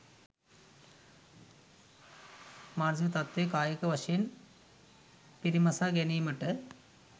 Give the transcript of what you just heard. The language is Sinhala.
මානසික තත්ත්වය කායික වශයෙන් පිරිමසා ගැනීමට